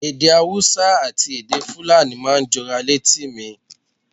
Èdè Hausa àti èdè Fulani máa ń jọra létí mi.